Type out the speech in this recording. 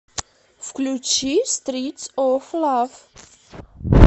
включи стритс оф лав